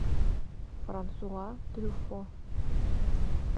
франсуа трюффо